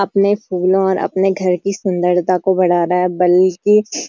अपने फूलों और अपने घर की सुंदरता को बढ़ा रहा है बल्कि --